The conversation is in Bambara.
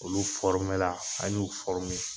Olu fɔrimela an y'u fɔrime